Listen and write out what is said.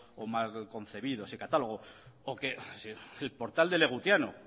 o mal concebido ese catálogo o que el portal de legutiano